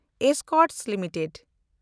Escorts limited